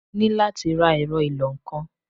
Mo ní láti ra ẹ̀rọ ìlọ-nǹkan.